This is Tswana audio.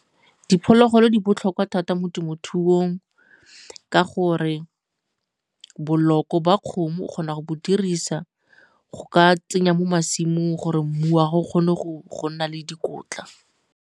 Diphologolo di botlhokwa thata mo temothuong ka gore boloko ba kgomo o kgona go bo dirisa go ka tsenya mo masimong gore mmu wa gago o kgone go nna le dikotla.